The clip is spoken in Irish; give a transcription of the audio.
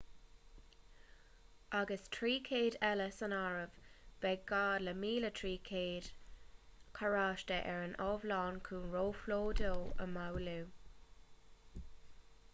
agus 300 eile san áireamh beidh gá le 1,300 carráiste ar an iomlán chun róphlódú a mhaolú